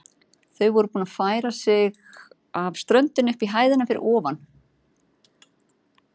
Þau voru búin að færa sig af ströndinni upp í hæðina fyrir ofan.